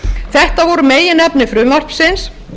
þetta voru meginefni frumvarpsins